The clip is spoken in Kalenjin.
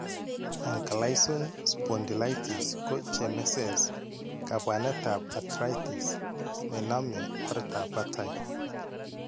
Ankylosing spondylitis ko cheemesees, kaabwanetab arthritis nenaame oertab batay.